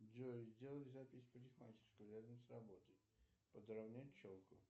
джой сделай запись в парикмахерскую рядом с работой подровнять челку